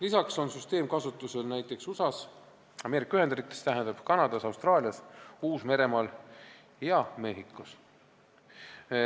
Lisaks on süsteem kasutusel näiteks Ameerika Ühendriikides, Kanadas, Austraalias, Uus-Meremaal ja Mehhikos.